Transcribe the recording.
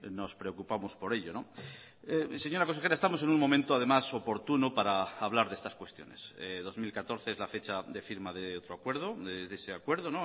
nos preocupamos por ello señora consejera estamos en un momento además oportuno para hablar de estas cuestiones dos mil catorce es la fecha de firma de otro acuerdo de ese acuerdo